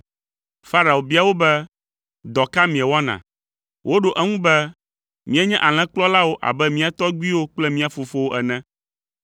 Farao bia wo be, “Dɔ ka miewɔna?” Woɖo eŋu be, “Míenye alẽkplɔlawo abe mía tɔgbuiwo kple mía fofowo ene.